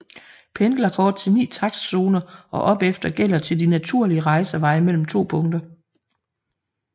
Pendlerkort til ni takstzoner og opefter gælder til de naturlige rejseveje mellem to punkter